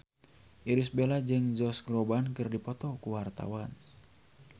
Irish Bella jeung Josh Groban keur dipoto ku wartawan